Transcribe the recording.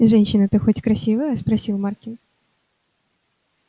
женщина-то хоть красивая спросил маркин